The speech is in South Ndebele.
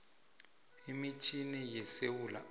imitjhini yesewula afrika